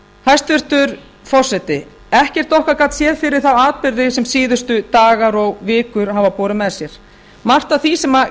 hæstvirtur forseti ekkert okkar gat séð fyrir þá atburði sem síðustu dagar og vikur hafa borið með sér margt af því sem